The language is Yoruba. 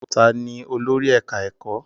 Ta ni olórí ẹ̀ká ẹ̀kọ́?